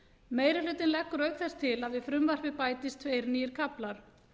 meiri hlutinn leggur auk þess til að við frumvarpið bætist tveir nýir kaflar